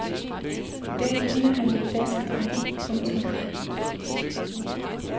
I dag ligner han en flaskedreng. punktum